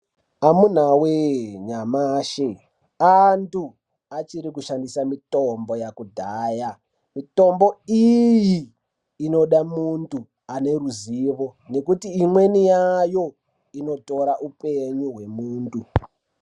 Amunawe! nyamashi antu achiri kushandisa mitombo yekudhaya mitombo iyi inoda muntu aneruzivo nekuti imweni yayo inotora upenyu hwemuntu.